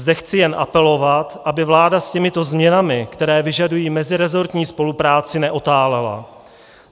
Zde chci jen apelovat, aby vláda s těmito změnami, které vyžadují mezirezortní spolupráci, neotálela.